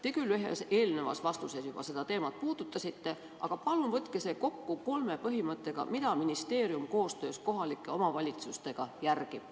Te küll ühes eelmises vastuses juba seda teemat puudutasite, aga palun võtke see kokku kolme põhimõttega, mida ministeerium koostöös kohalike omavalitsustega järgib.